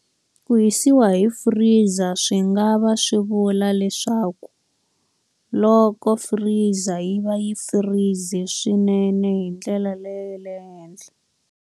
Hu hisiwa hi freezer swi nga va swi vula leswaku loko freezer yi va yi freeze-e swinene hi ndlela leyo le henhla.